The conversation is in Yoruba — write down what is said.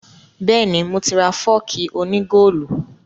Bẹ́ẹ̀ni, mo ti ra fọ́ọ̀kì òní góòlù